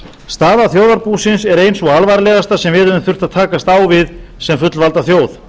staða þjóðarbúsins er ein sú alvarlegasta sem við höfum þurft að takast á við sem fullvalda þjóð